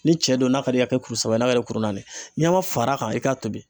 Ni cɛ do n'a ka d'i ye a kɛ kuru saba ye n'a ka d'i ye kuru naani ɲama far'a kan i k'a tobi.